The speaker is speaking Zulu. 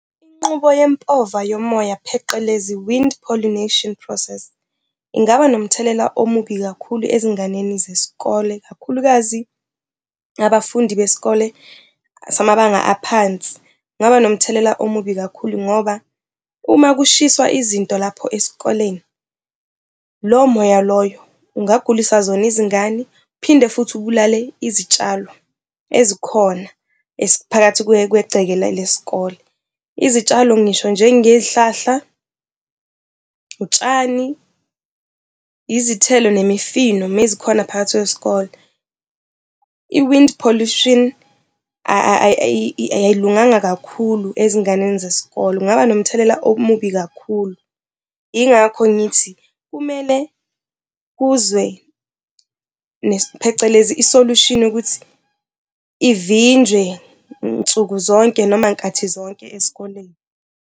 Inqubo yempova yomoya, pheqelezi, wind pollination process, ingaba nomthelela omubi kakhulu ezinganeni zesikole ikakhulukazi abafundi besikole samabanga aphansi. Kungaba nomthelela omubi kakhulu ngoba uma kushiswa izinto lapho esikoleni, lowo moya loyo ungagulisa zona izingane phinde futhi ubulale izitshalo ezikhona phakathi kwegceke lesikole. Izitshalo ngisho njengeyihlahla, utshani, izithelo nemifino mezikhona phakathi kwesikole. I-wind pollution ayilunganga kakhulu ezinganeni zesikole, kungaba nomthelela omubi kakhulu. Yingakho ngithi kumele kuze, phecelezi, i-solution yokuthi ivinjwe nsuku zonke noma nkathi zonke esikoleni.